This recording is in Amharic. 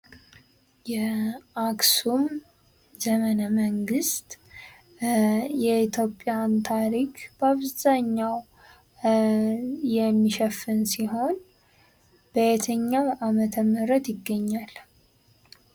የአክሱም ዘመነ መንግስት የኢትዮጵያን ታሪክ በአብዘሃኛው የሚሸፍን ሲሆን በየትኛው አመተ ምህረት ይገኛል?